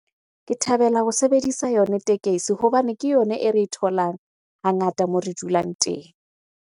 Ke thabela ho sebedisa yona tekesi hobane ke yona e re e tholang hangata moo re dulang teng.